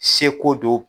Seko don